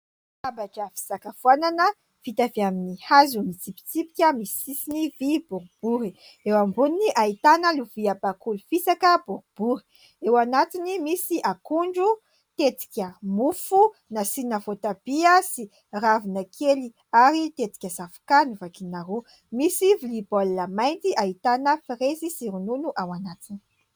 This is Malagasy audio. Latabatra fisakafoanana vita avy amin'ny hazo mitsipitsipika misy sisiny vy boribory. Eo amboniny, ahitana lovia bakoly fisaka boribory. Eo anatiny misy akondro, tetika mofo nasiana voatabia sy ravina kely ary tetika zavokà novakiana roa. Misy vilia baolina mainty ahitana frezy sy ronono ao anatiny.